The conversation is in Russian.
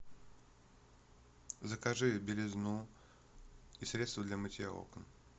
закажи белизну и средство для мытья окон